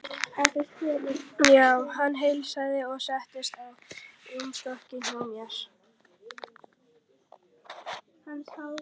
Hann heilsaði og settist á rúmstokkinn hjá mér.